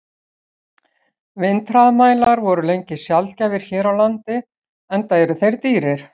Vindhraðamælar voru lengi sjaldgæfir hér á landi, enda eru þeir dýrir.